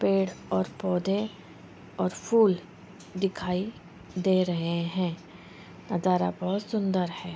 पेड़ और पौधे और फूल दिखाई दे रहे हैं नज़ारा बहुत सुन्दर है।